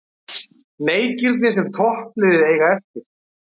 Leikirnir sem toppliðin eiga eftir